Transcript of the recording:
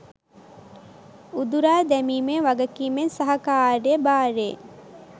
උදුරා දැමීමේ වගකීමෙන් සහ කාර්ය භාරයෙන්